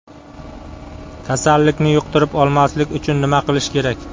Kasallikni yuqtirib olmaslik uchun nima qilish kerak?